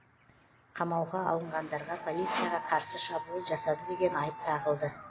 қамауға алынғандарға полицияға қарсы шабуыл жасады деген айып тағылды